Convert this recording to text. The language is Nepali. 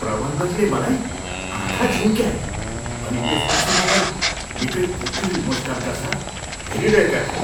प्रबन्धकले मलाई आँखा झिम्क्याए अनि त्यसपछि मलाई निकै कुटिल मुस्कानका साथ हेरिरहेका थिए।